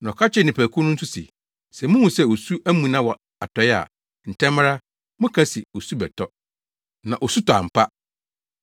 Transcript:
Na ɔka kyerɛɛ nnipakuw no nso se, “Sɛ muhu sɛ osu amuna wɔ atɔe a, ntɛm ara, moka se, ‘Osu bɛtɔ’! Na osu tɔ ampa.